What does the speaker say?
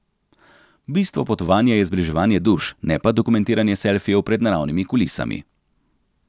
Bistvo potovanja je zbliževanje duš, ne pa dokumentiranje selfijev pred naravnimi kulisami.